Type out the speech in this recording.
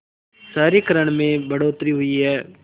शहरीकरण में बढ़ोतरी हुई है